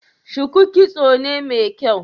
shuku kitso ne mai kyau?